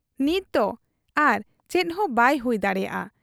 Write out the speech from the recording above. ᱱᱤᱛᱫᱚ ᱟᱨ ᱪᱮᱫᱦᱚᱸ ᱵᱟᱭ ᱦᱩᱭ ᱫᱟᱲᱮᱭᱟᱜ ᱟ ᱾